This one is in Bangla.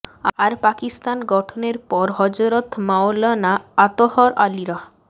আর পাকিস্তান গঠনের পর হযরত মাওলানা আতহার আলী রাহ